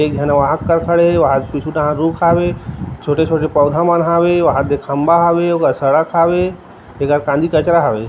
एक झन वहां क खड़े हे वहां पीछू ढहान रुख हावे छोटे - छोटे पौधा मन हवे वहाँ पे खम्बा हवे सड़क हवे तेकर पाछी कचरा हावे।